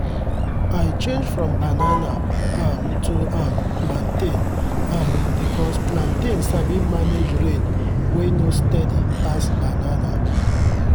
i change from banana um to um plantain um because plantain sabi manage rain wey no steady pass banana.